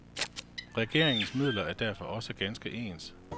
Regeringernes midler er derfor også ganske ens.